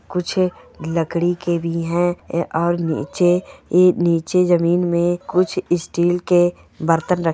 कुछ लकड़ी के भी है ऐ और निचे ऐ निचे जमीन मैं कुछ स्टील के बर्तन रखे--